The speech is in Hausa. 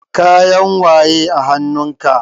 Kayan waye a hanun ka?